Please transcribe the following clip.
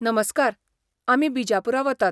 नमस्कार! आमी बिजापूरा वतात.